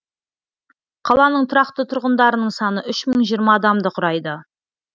қаланың тұрақты тұрғындарының саны үш мың жиырма адамды құрайды